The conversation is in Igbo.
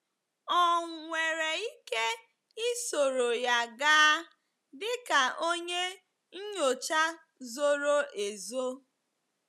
Ọ̀ nwere ike isoro ya gaa dịka onye nnyocha zoro ezo?